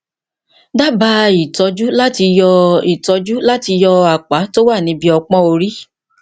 dábàá ìtọjú láti yọ ìtọjú láti yọ apá tó wà ní ibi ọpọn orí